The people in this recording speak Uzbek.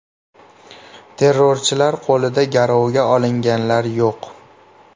Terrorchilar qo‘lida garovga olinganlar yo‘q.